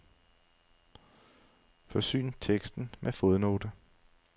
Forsyn teksten med fodnote.